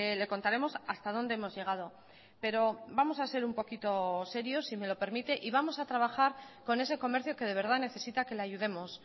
le contaremos hasta donde hemos llegado pero vamos a ser un poquito serios si me lo permite y vamos a trabajar con ese comercio que de verdad necesita que le ayudemos